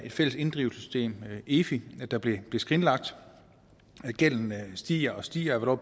fælles inddrivelsessystem efi der blev skrinlagt gælden stiger og stiger og